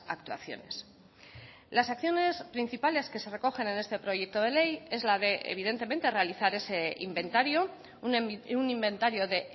actuaciones las acciones principales que se recogen en este proyecto de ley es la de evidentemente realizar ese inventario un inventario de